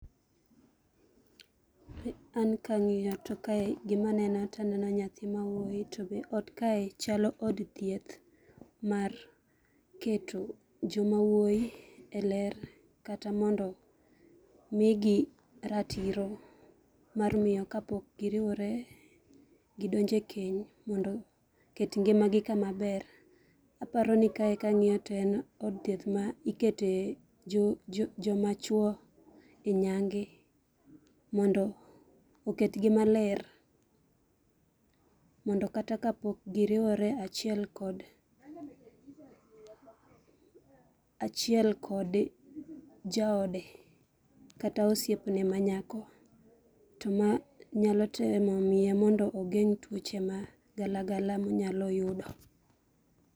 An kang'iyo to kae gima neno taneno nyathi mawuoyi to be ot kae chalo od thieth mar keto joma wuoyi e ler kata mondo migi ratiro mar miyo ka pok giriwore, gidonjo e keny mondo oket ngima gi kama ber. Aparo ni kae kang'iyo to en od thieth ma ikete joma chwo e nyangi mondo oketgi maler, mondo kata ka pok giriwore achiel kod, achiel kod jaode kata osiepne manyako, to ma nyalo temo miye mondo ogeng' tuoche ma gala gala monyalo yudo.